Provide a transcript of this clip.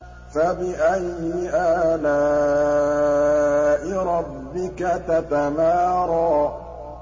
فَبِأَيِّ آلَاءِ رَبِّكَ تَتَمَارَىٰ